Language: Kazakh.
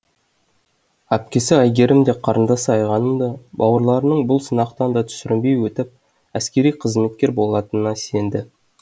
әпкесі айгерім де қарындасы айғаным да бауырларының бұл сынақтан да сүрінбей өтіп әскериқызметкер болатынына сенді